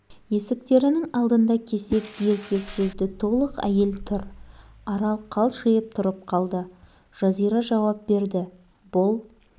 есіктерінің алдында кесек еркек жүзді толық әйел тұр арал қалшиып тұрып қалды жазира жауап берді бұл